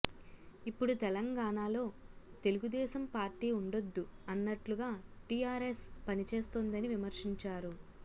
ఇప్పుడు తెలంగాణలో తెలుగుదేశం పార్టీ ఉండొద్దు అన్నట్లుగా టీఆర్ఎస్ పని చేస్తోందని విమర్శించారు